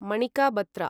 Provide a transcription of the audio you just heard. Manika Batra